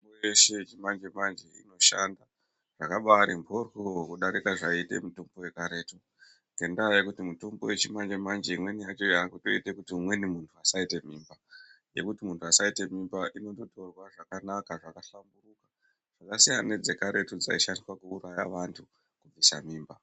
Yeshe yechimanje manje inoshanda zvakabati moryo kudarike zvaite mutombo yekaretu ngendaa yekuti mutombo yechimanje manje imweni yacho yakutoite kuti umweni muntu asaite mimba yekuti muntu asaite mimba inondotorwa zvakanaka zvakahlamburuka zvasiyana nedze karetu dzaishandiswa kuuraya vantu kubvisa mimba.